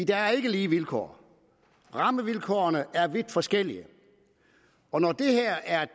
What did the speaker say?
der er ikke lige vilkår rammevilkårene er vidt forskellige og når det her er